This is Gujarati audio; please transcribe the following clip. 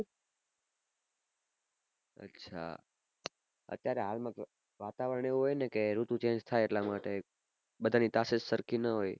અચ્છા અત્યાર હાલ માં વાતાવરણ એવું હોય ઋતુ change થાય એટલા માટે બઘા ની તાકત સરખી ન હોય